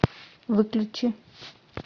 выключи